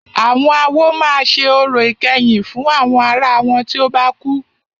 Àwọn awo máà ṣe orò ìkẹyìn fún àwọn ará wọn tí o bá kú.